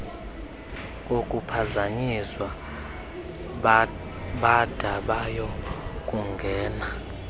kokuphazanyiswa bada bayokungena